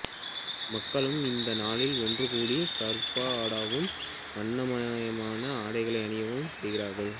மக்களும் இந்த நாளில் ஒன்று கூடி கர்பா ஆடவும் வண்ணமயமான ஆடைகளை அணியவும் செய்கிறார்கள்